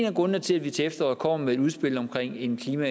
af grundene til at vi til efteråret kommer med et udspil om en klima